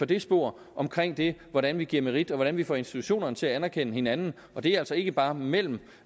det spor omkring det hvordan vi giver merit og hvordan vi får institutionerne til at anerkende hinanden det er altså ikke bare mellem